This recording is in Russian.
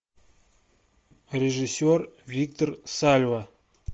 режиссер виктор сальва